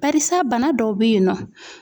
Barisa bana dɔw bɛ yennɔ.